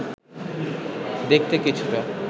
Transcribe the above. দেখতে কিছুটা